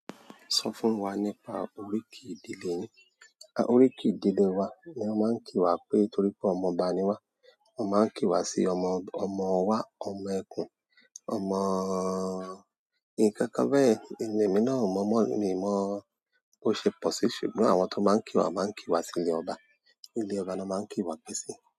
Sọ fún wa nípa oríkì ìdílé yín. Oríkì ìdílé wa ni wọ́n máa ń kí wa pé torí pé ọmọọba ni wá. Wọ́n máa ń kí wa sí ọmọ, ọmọ wa, ọmọ ẹkùn, ọmọ nkankan bẹ́yen. Emi náà o mọ́ mọ́, mi ò mọ̀ bó ṣe pọ̀ sí ṣùgbọ́n àwọn tó máa ń kí wa máa ń kí wa sí ilé ọba. Ilé ọba ni wọ́n máa ń kí wa pé sí.